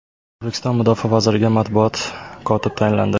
O‘zbekiston mudofaa vaziriga matbuot kotib tayinlandi.